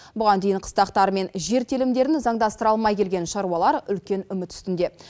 бұған дейін қыстақтары мен жер телімдерін заңдастыра алмай келген шаруалар үлкен үміт үстінде